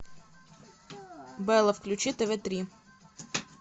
белла включи тв три